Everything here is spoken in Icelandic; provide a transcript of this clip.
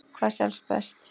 Hvað selst best?